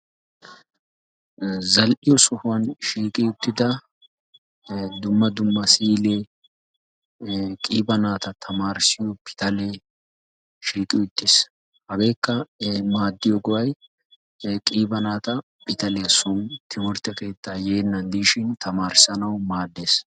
Zal''iyo sohuwan shiiqqi uttida dumma dumma siile. qiiba naata tammarissiyo pitalee shiiqi uttiis. Hageekka maaddiyo go''a qiiba naata pitaliyaa soon timmirtte keetta yeenan dishin tamarissnaw maaddees.